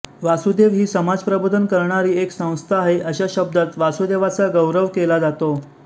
वासुदेव ही समाज प्रबोधन करणारी एक संस्था आहे अशा शब्दात वासुदेवाचा गौरव केला जातो